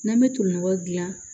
N'an bɛ tolinɔgɔ dilan